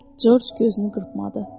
Corc gözünü qırpmadı.